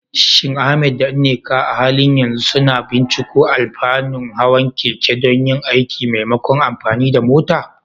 Shin Ahmad da Nneka a halin yanzu suna binciko alfanun hawan keke don yin aiki maimakon amfani da mota?